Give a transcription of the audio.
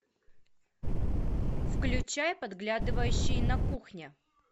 включай подглядывающий на кухне